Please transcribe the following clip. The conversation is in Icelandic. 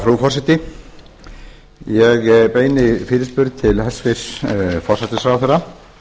frú forseti ég beini fyrirspurn til hæstvirts forsætisráðherra